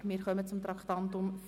Wir kommen zum Traktandum 44: